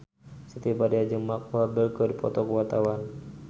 Siti Badriah jeung Mark Walberg keur dipoto ku wartawan